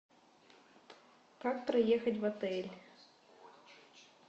как проехать в отель